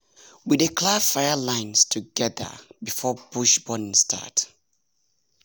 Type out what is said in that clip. we dey clear fire lines together before bush burning start.